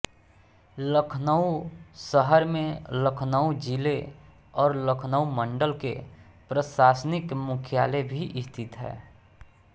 लखनऊ शहर में लखनऊ जिले और लखनऊ मंडल के प्रशासनिक मुख्यालय भी स्थित हैं